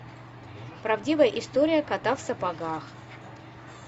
правдивая история кота в сапогах